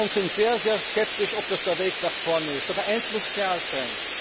Viele von uns sind sehr, sehr skeptisch, ob das der Weg nach vorne ist. Aber eins muss klar sein.